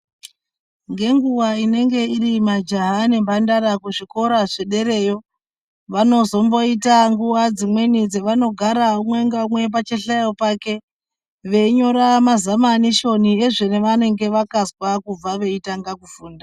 Ngenguwa inenge iri majaha nemphandara kuzvikora zvedereyo, vanozomboita nguva dzimweni dzevanogara umwe naumwe pachihlayo chake ,veinyora mazamanishoni ezvavanenge vakazwa kubva veitanga kufunda.